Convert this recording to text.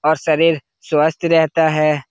और शरीर स्वस्थ रहता है।